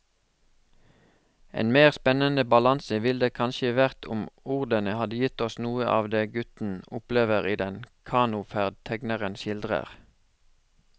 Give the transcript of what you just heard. En mer spennende balanse ville det kanskje vært om ordene hadde gitt oss noe av det gutten opplever i den kanoferd tegneren skildrer.